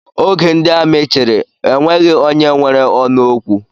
Oge ndị amị chịrị, enweghị onye nwere ọnụ okwu